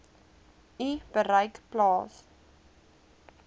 u bereik plaas